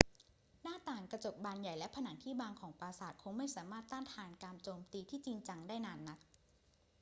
หน้าต่างกระจกบานใหญ่และผนังที่บางของปราสาทคงไม่สามารถต้านทานการโจมตีที่จริงจังได้นานนัก